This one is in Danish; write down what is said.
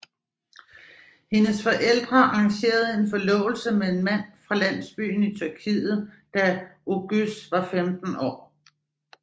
Hendes forældre arrangere en forlovelse med en mand fra landsbyen i Tyrkiet da Oguz var 15 år